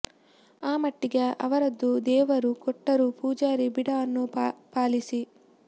ಆ ಮಟ್ಟಿಗೆ ಅವರದ್ದು ದೇವರು ಕೊಟ್ಟರೂ ಪೂಜಾರಿ ಬಿಡ ಅನ್ನೋ ಪಾಲಿಸಿ